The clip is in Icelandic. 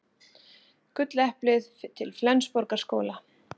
Gulleplið til Flensborgarskóla